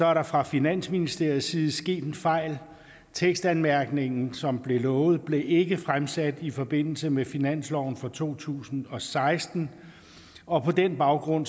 er der fra finansministeriets side sket en fejl tekstanmærkningen som blev lovet blev ikke fremsat i forbindelse med finansloven for to tusind og seksten og på den baggrund